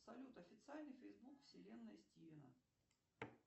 салют официальный фейсбук вселенная стивена